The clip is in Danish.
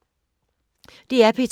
DR P2